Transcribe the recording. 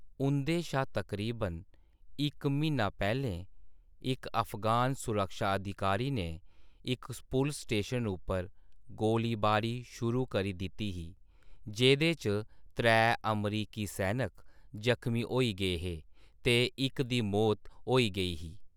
उं’दे शा तकरीबन इक म्हीना पैह्‌लें, इक अफगान सुरक्षा अधिकारी ने इक पुलस स्टेशन उप्पर गोलीबारी शुरू करी दित्ती ही, जेह्दे च त्रै अमरीकी सैनिक जख्मी होई गे हे ते इक दी मौत होई गेई ही।